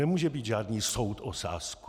Nemůže být žádný soud o sázku.